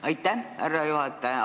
Aitäh, härra juhataja!